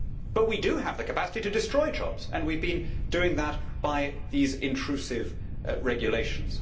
But we do have the capacity to destroy jobs and we have been doing that by these intrusive regulations.